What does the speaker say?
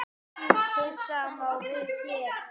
Hið sama á við hér.